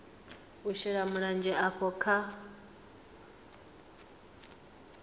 u shela mulenzhe havho kha